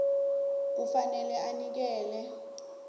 kufanele anikele ngelwazi